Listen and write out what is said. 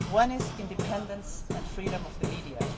One is the independence and freedom of the media.